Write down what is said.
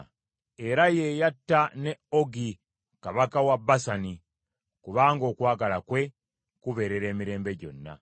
Era ye yatta ne Ogi kabaka wa Basani, kubanga okwagala kwe kubeerera emirembe gyonna.